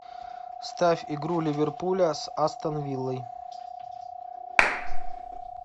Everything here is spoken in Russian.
ставь игру ливерпуля с астон виллой